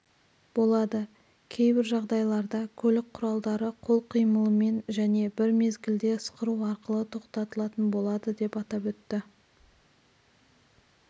болады кейжағдайларда көлік құралдары кол қимылымен жәнебір мезгілде ысқыру арқылы тоқтатылатын болады деп атап өтті